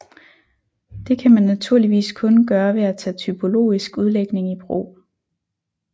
Det kan man naturligvis kun gøre ved at tage typologisk udlægning i brug